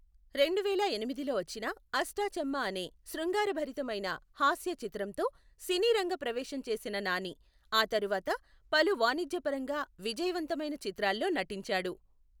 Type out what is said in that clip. రెండువేల ఎనిమిదిలో వచ్చిన అష్టా చమ్మా అనే శృంగారభరితమైన హాస్య చిత్రంతో సినీ రంగ ప్రవేశం చేసిన నాని, ఆ తర్వాత పలు వాణిజ్యపరంగా విజయవంతమైన చిత్రాల్లో నటించాడు.